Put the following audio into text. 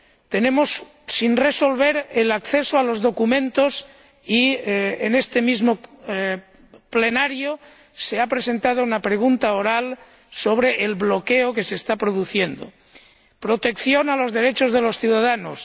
Tenemos sin resolver la cuestión del acceso a los documentos, y en este mismo Pleno se ha presentado una pregunta oral sobre el bloqueo que se está produciendo. El tercero, protección de los derechos de los ciudadanos.